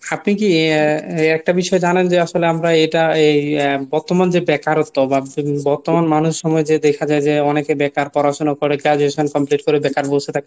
আপনি কী আহ একটা বিষয়ে জানেন যে আসলে আমরা এটা এই বর্তমান যে বেকারত্ব বা বর্তমান মানুষ সময় দেখা যায় যে অনেকে বেকার পড়াশুনা করে graduation complete করে বেকার বসে থাকতে।